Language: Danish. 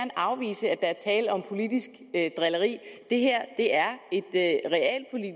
afvise at der er tale om politisk drilleri det her er